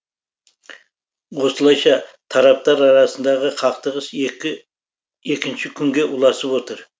осылайша тараптар арасындағы қақтығыс екінші күнге ұласып отыр